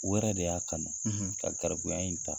U yɛrɛ de y'a kanu ka garibuya in ta.